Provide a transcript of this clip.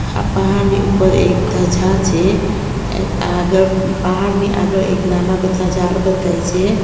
હા પહાડની ઉપર એક ધજા છે એ આગળ પહાડની આગળ એક નાના બધા ઝાડ બતાય છે.